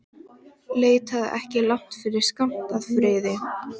Leitaðu ekki langt yfir skammt að friði.